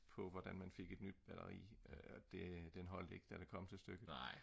på hvordan man fik et nyt batteri det holdt ik da det kom til stykket